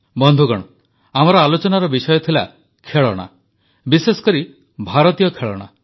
ବନ୍ଧୁଗଣ ଆମର ଆଲୋଚନାର ବିଷୟ ଥିଲା ଖେଳଣା ବିଶେଷକରି ଭାରତୀୟ ଖେଳଣା